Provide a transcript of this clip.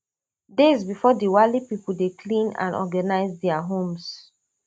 days bifor diwali pipo dey clean and organise dia homes